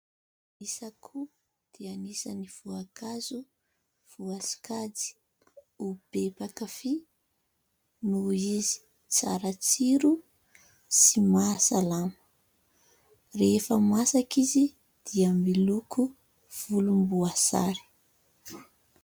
Ny sakoa dia anisany voankazo voasokajy ho be mpakafy, noho izy tsara tsiro sy mahasalama. Rehefa masaka izy dia miloko volomboasary.